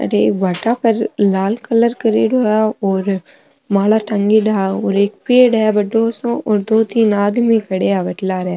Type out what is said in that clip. अठे एक भाटा पर लाल कलर करेडो है और माला टँगीडा और एक पेड़ है बड़ो सो और दो तीन आदमी खड़या है बट लारे।